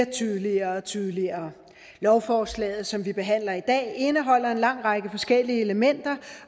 tydeligere og tydeligere lovforslaget som vi behandler i dag indeholder en lang række forskellige elementer